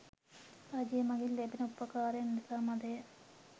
රජය මඟින් ලැබෙන උපකාරයන් ඉතා මඳය.